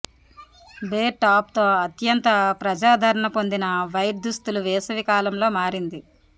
bear top తో అత్యంత ప్రజాదరణ పొందిన వైట్ దుస్తులు వేసవి కాలంలో మారింది